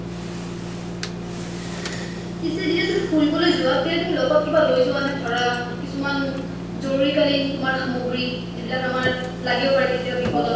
পিছে যেতিয়া তুমি ফুৰিবলৈ যোৱা তেতিয়া তুমি লগত কিবা লৈ যোৱা ধৰা কিছুমান জৰুৰী কালিন সামগ্ৰী যিবিলাক আমাৰ লাগিব পাৰে আমাৰ বিপদত